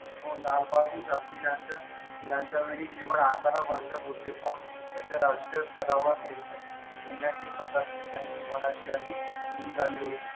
हो लालबहादूर शास्त्री यांच्या यांच्या वेळी केवळ आकारा जत होते पण त्याच्या राजकीय स्तरावर नेण्याची प्रकारची त्यांची मनाची अधिक सुरू झाली होती